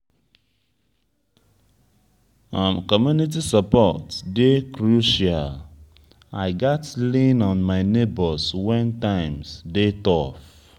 community support dey crucial; i gats lean on my neighbors when times dey tough.